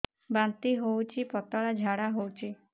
ବାନ୍ତି ହଉଚି ପତଳା ଝାଡା ହଉଚି